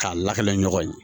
K'a lakana ɲɔgɔn ye